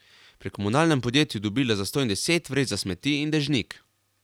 Pri komunalnem podjetju je dobila zastonj deset vreč za smeti in dežnik.